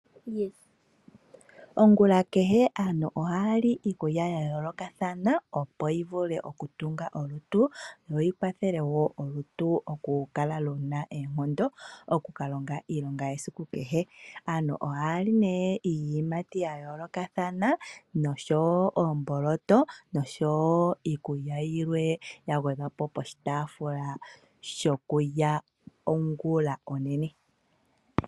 Ongula kehe aantu ohaya li iikulya ya yoolokathana, opo yi vule oku tunga olutu lwo lukale luna oonkondo oku kalonga iilonga yesiku kehe. Aantu ohaya li nee iiyimati ya yoolokathana osho wo omboloto nosho woo iikulya yilwe yagwedhwa po poshitaafula shokulya ongulonene.